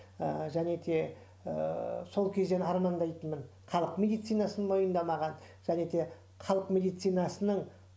і және де ыыы сол кезден армандайтынмын халық медицинасын мойындамаған және де халық медицинасының